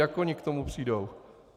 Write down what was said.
Jak oni k tomu přijdou?